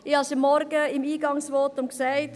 Ich habe es heute Morgen im Eingangsvotum gesagt: